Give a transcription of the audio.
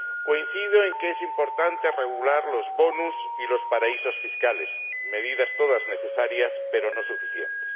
Coincido en que es importante regular los bonus y los paraísos fiscales ―medidas todas necesarias, pero no suficientes.